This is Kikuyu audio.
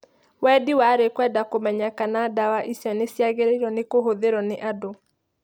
Wendi warĩ kwenda kũmenya kana ndawa icio nĩciagĩrĩirwo nĩkũhũtgirwo nĩ andũ.